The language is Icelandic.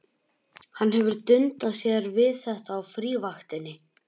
Hann hefur dundað sér við þetta á frívaktinni.